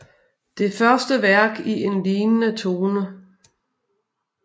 Det første værk i en lignende tone